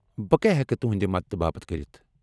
بہٕ کیٛاہ ہٮ۪کہٕ تُہنٛدِ مدتہٕ باپت كرِتھ ؟